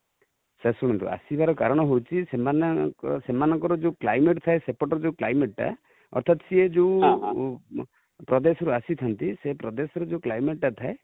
sir ଶୁଣନ୍ତୁ, ଆସିବାର କାରଣ ହଉଛି ସେମାନେ, ସେମାନଙ୍କର ଯୋଉ climate ଥାଏ, ସେପଟର ଯୋଉ climate ଟା ଅର୍ଥାତ ସିଏ ଯୋଉ ପ୍ରଦେଶ ରୁ ଆସିଥାନ୍ତି ,ସେ ପ୍ରଦେଶ ର ଯୋଉ climate ଟା ଥାଏ,